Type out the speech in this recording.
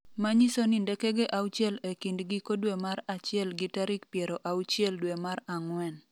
manyiso ni ndekege auchiel e kind giko dwe mar achiel gi tarik piero auchiel dwe mar ang'wen